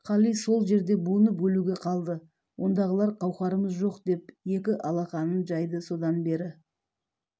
қали сол жерде буынып өлуге қалды ондағылар қауқарымыз жоқ деп екі алақанын жайды содан бері